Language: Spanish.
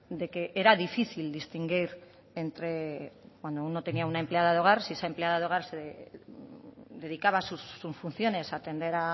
de que era difícil distinguir entre cuando uno tenía una empleada de hogar si esa empleada de hogar se dedicaba a sus funciones a atender